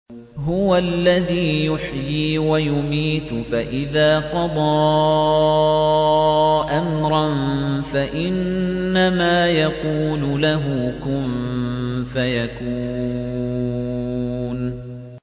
هُوَ الَّذِي يُحْيِي وَيُمِيتُ ۖ فَإِذَا قَضَىٰ أَمْرًا فَإِنَّمَا يَقُولُ لَهُ كُن فَيَكُونُ